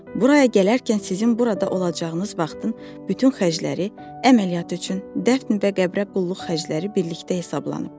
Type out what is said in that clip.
Buraya gələrkən sizin burada olacağınız vaxtın bütün xərcləri, əməliyyat üçün, dəfn və qəbrə qulluq xərcləri birlikdə hesablanıb.